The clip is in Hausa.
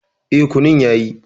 E, kunun yayi.